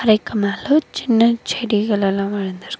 அதுக்கு மேல சின்ன செடிகள் எல்லா வளந்துருக்கு.